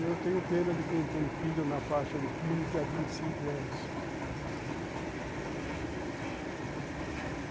Eu tenho pena de quem tem filho na faixa de quinze a vinte e cinco anos.